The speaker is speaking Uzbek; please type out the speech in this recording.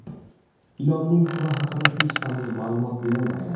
Ilonning turi haqida hech qanday ma’lumot berilmagan.